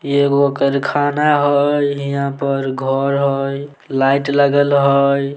इ एगो कारखाना हअ हीया पर घर हेय लाइट लगल हेय।